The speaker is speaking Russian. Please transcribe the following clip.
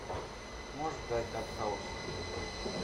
можешь показать артхаус